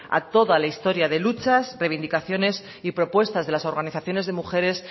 a toda la historia de luchas reivindicaciones y propuestas de las organizaciones de mujeres